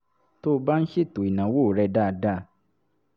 tó o bá ń ṣètò ìnáwó rẹ dáadáa